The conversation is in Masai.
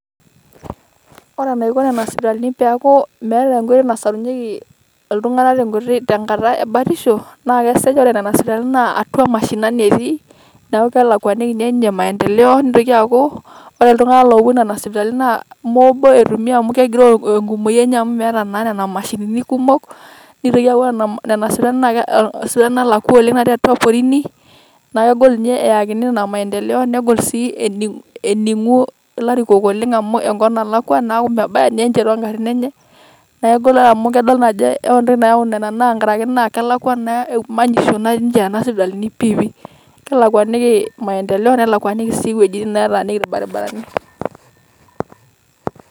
Ore Nena sipitali peeku meeta enkoitoi nasarunyieki iltung'anak tenkop tengata ebatisho naa kesej' ore Nena sipitali atwa mashinani etii neeku kelakuani ninye inye maendeleo Neitoki aaku ore iltung'anak loopuo Nena sipitali naa moobo etumi amu kegiroo enkumoi enye amu meeta naa Nena mashinini kumok neitoki aaku ore Nena sipitali naa isipitalini naalakwa oleng' natii atwa porini naa kegol ninye pee eyakini Nena maendeleo negol sii enin'u ilarikok Oleng' amu Enkop naalakwa neeku mebaya ninye ninche too garrin enye, neeku kegol amu idol ajo ore entoki naau Nena naa idol ajo kelakwa naa manyisho natii enche Nena sipitalini pipiipi, kelakwani maendeleo nelakwaniki sii ewuejitin nataaniki ilbarabarani.